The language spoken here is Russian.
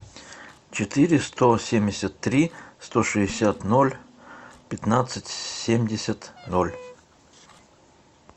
четыре сто семьдесят три сто шестьдесят ноль пятнадцать семьдесят ноль